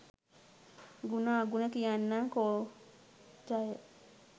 ගුණ අගුණ කියන්නං කෝ ජය